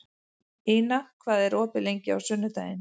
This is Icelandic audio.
Ina, hvað er opið lengi á sunnudaginn?